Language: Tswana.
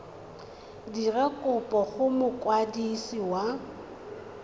dira kopo go mokwadisi wa